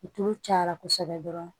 Tulu cayara kosɛbɛ dɔrɔn